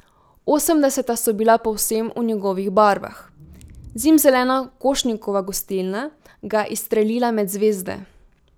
Osemdeseta so bila povsem v njegovih barvah, zimzelena Košnikova gostilna ga je izstrelila med zvezde.